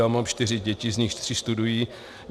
Já mám čtyři děti, z nichž tři studují.